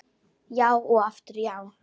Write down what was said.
Já og aftur já.